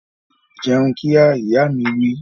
Jẹun kíá! Ìyá mi wí